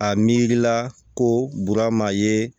A miirila ko bura ma ye